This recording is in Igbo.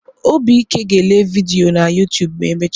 Obike ga ele vidiyo na Yoụtụbụ emecha.